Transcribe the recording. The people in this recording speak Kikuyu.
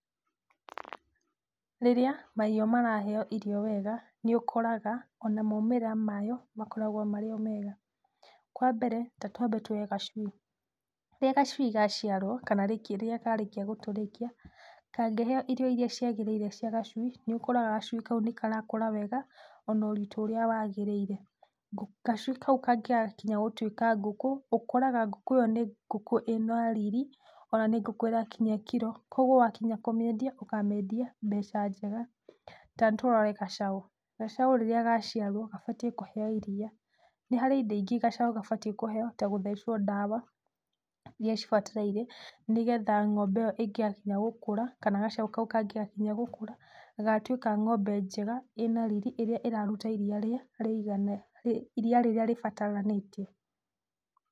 Rĩrĩa mahiũ maraheywo irio wega, nĩũkoraga ona maumĩrĩra mayo makoragwo marĩ o mega. Kwambere, tatwambe tuoye gacui. Rĩrĩa gacui gaciarwo kana rĩrĩa karĩkia gũtũrĩkia, kangĩheywo irio iria ciagĩrĩire cia gacui, nĩũkoraga gacui kau nĩkarakũra wega onoritũ ũrĩa wagĩrĩire. Gacui kau kangĩgakinya gũtuĩka ngũkũ, ũkoraga ngũkũ ĩyo nĩ ngũkũ ĩna riri ona nĩ ngũkũ ĩrakinyia kiro, kwogwo wakinya kũmĩendia ũkamĩendia mbeca njega. Tanĩtũrore gacaũ, gacaũ rĩrĩa gaciarwo gabatiĩ kũheywo iria. Nĩharĩ indo ingĩ gacaũ gabatiĩ kũheywo ta gũthecwo ndawa iria cibatarĩire, nĩgetha ng'ombe ĩyo ĩngĩgakinya gũkũra, kana gacaũ kangĩgakinya gũkũra, gagatuĩka ng'ombe njega ĩna riri, ĩrĩa ĩraruta iria rĩa, iria rĩrĩa rĩbataranĩtie.